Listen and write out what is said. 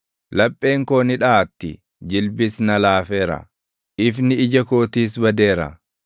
Lapheen koo ni dhaʼatti; jilbis na laafeera; ifni ija kootiis badeera.